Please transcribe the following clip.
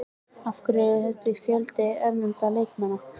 Af hverju er þessi fjöldi erlendra leikmanna?